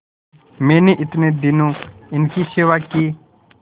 मैंने इतने दिनों इनकी सेवा की